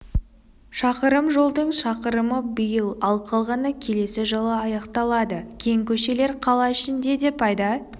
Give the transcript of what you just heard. шақырым жолдың шақырымы биыл ал қалғаны келесі жылы аяқталады кең көшелер қала ішінде де пайда